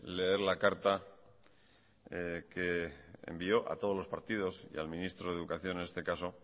leer la carta que envió a todos los partidos y al ministro de educación en este caso